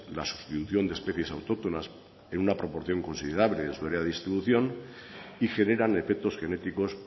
la sustitución de especies autóctonas en una proporción considerable de su área de distribución y generan efectos genéticos